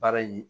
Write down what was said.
Baara ye